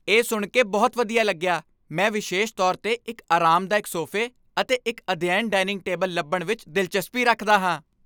ਇਹ ਸੁਣ ਕੇ ਬਹੁਤ ਵਧੀਆ ਲੱਗਿਆ! ਮੈਂ ਵਿਸ਼ੇਸ਼ ਤੌਰ 'ਤੇ ਇੱਕ ਅਰਾਮਦਾਇਕ ਸੋਫੇ ਅਤੇ ਇੱਕ ਅਧਿਐਨ ਡਾਇਨਿੰਗ ਟੇਬਲ ਲੱਭਣ ਵਿੱਚ ਦਿਲਚਸਪੀ ਰੱਖਦਾ ਹਾਂ।